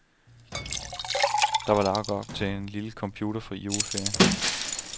Der var lagt op til en lille computerfri juleferie.